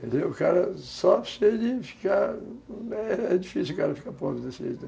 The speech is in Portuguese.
É difícil o cara ficar pronto desse jeito.